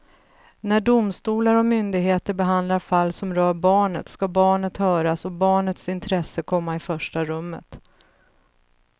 När domstolar och myndigheter behandlar fall som rör barnet ska barnet höras och barnets intresse komma i första rummet.